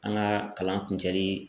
An ga kalan kun cɛli